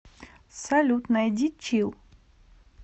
салют найди чилл